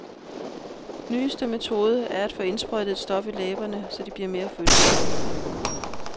Nyeste mode er at få indsprøjtet et stof i læberne, så de bliver mere fyldige.